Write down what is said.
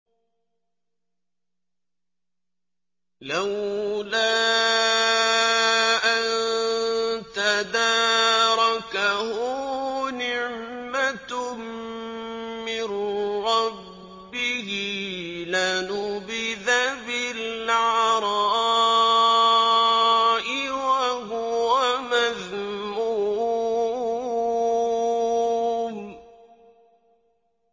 لَّوْلَا أَن تَدَارَكَهُ نِعْمَةٌ مِّن رَّبِّهِ لَنُبِذَ بِالْعَرَاءِ وَهُوَ مَذْمُومٌ